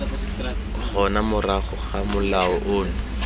gona morago ga molao ono